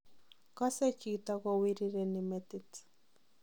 Kosee chito kowirireni metit.